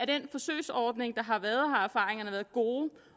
den forsøgsordning der har været har været gode